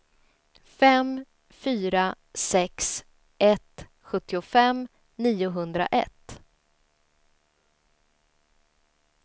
fem fyra sex ett sjuttiofem niohundraett